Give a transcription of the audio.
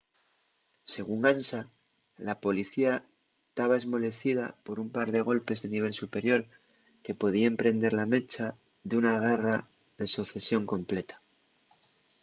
según ansa la policía taba esmolecida por un par de golpes de nivel superior que podíen prender la mecha d’una guerra de socesión completa